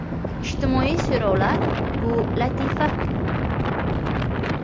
Ijtimoiy so‘rovlar bu latifa!